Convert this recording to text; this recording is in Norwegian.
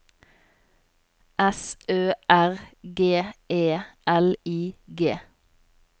S Ø R G E L I G